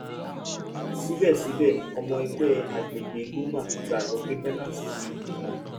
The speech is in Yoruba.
sibẹsibẹ ọmọ ẹgbẹ agbegbe ggoma gbagbọ pe binance ti